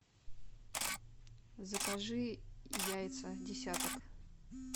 закажи яйца десяток